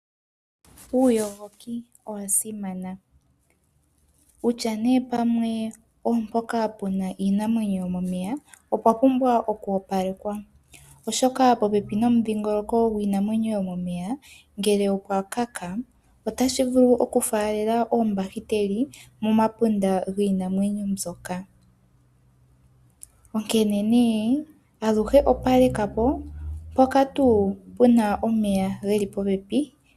Uuyogoki owa simana kutya nee pamwe opo mpoka puna iinamwenyo yomomeya opwa pumbwa okwoopalekwa. Oshoka popepi nomudhingoloko gwiinamwenyo yomomeya ngele opwa luudha otashi vulu okufaalela oombakiteli momapunda giinamwenyo mbyoka. Onkene nee aluhe opaleka po mpoka tuu puna omeya geli popepi.